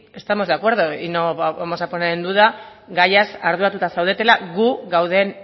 estamos de acuerdo y no vamos a poner en duda gaiaz arduratuta zaudetela gu gauden